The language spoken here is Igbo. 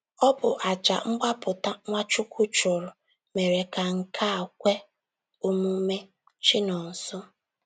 Ọ bụ àjà mgbapụta Nwachukwu chụrụ mere ka nke a kwe omume. — Chinonso.